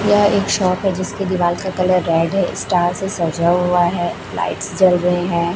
यह एक शॉप है जिसके दीवाल का कलर रेड है स्टार से सजा हुआ है लाइट्स जल रहे हैं।